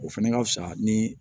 O fɛnɛ ka fusa ni